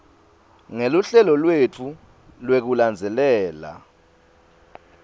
ngeluhlelo lwetfu lwekulandzelela